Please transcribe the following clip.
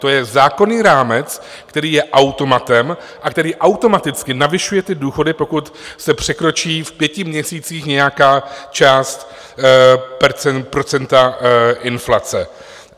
To je zákonný rámec, který je automatem a který automaticky navyšuje ty důchody, pokud se překročí v pěti měsících nějaká část procenta inflace.